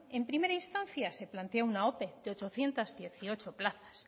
en primera instancia se planteó una ope de ochocientos dieciocho plazas